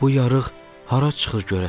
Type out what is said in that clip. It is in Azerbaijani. Bu yarıq hara çıxır görəsən?